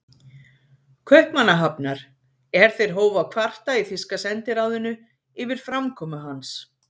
Kaupmannahafnar, er þeir hófu að kvarta í þýska sendiráðinu yfir framkomu hans.